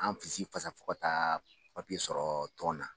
An fisi fasa fasa fo ka taa papiye sɔrɔ tɔn na.